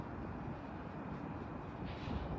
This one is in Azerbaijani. Görürsüz burda bu hissəyə çatır.